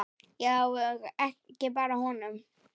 Já, og ekki bara honum.